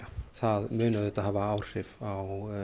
það mun auðvitað hafa áhrif á